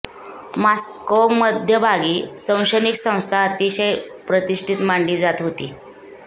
Moscow मध्यभागी शैक्षणिक संस्था अतिशय प्रतिष्ठित मानली जात होती